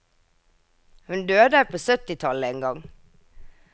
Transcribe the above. Hun døde på syttitallet en gang.